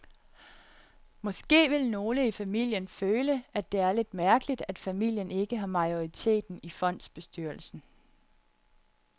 Måske vil nogle i familien føle, at det er lidt mærkeligt, at familien ikke har majoriteten i fondsbestyrelsen.